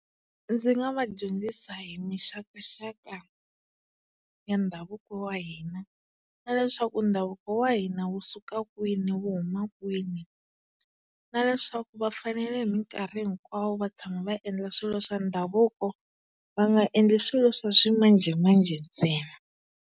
Ndzi nga va dyondzisa hi mixakaxaka ya ndhavuko wa hina na leswaku ndhavuko wa hina wu suka kwini wu huma kwini na leswaku va fanele hi minkarhi hinkwawo va tshama va endla swilo swa ndhavuko va nga endli swilo swa ximanjhemanjhe ntsena.